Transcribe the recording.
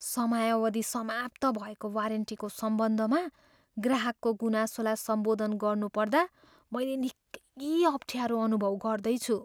समयावधि समाप्त भएको वारेन्टीको सम्बन्धमा ग्राहकको गुनासोलाई सम्बोधन गर्नुपर्दा मैले निकै अप्ठ्यारो अनुभव गर्दैछु।